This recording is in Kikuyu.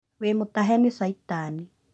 Wĩmũtahe nĩ caitani